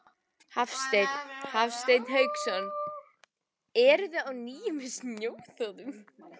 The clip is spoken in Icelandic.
Hafsteinn Hauksson: Eruði á nýjum snjóþotum?